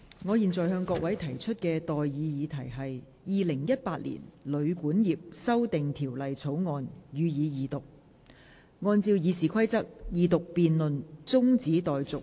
我現在向各位提出的待議議題是：《2018年旅館業條例草案》，予以二讀。